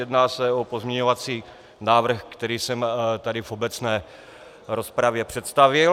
Jedná se o pozměňovací návrh, který jsem tady v obecné rozpravě představil.